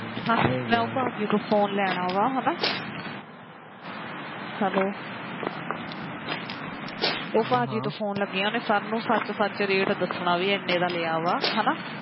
ਮੈ ਉਹ ਭਾਜੀ ਤੋ phone ਲੈਣਾ ਵਾ hello ਉਹ ਭਾਜੀ ਤੋ phone ਲੱਗਿਆ ਸੱਚ ਸੱਚ rate ਦੱਸਣਾ ਵੀ ਇੰਨੇ ਦਾ ਲਿਆ ਵਾ ਹੈਣਾ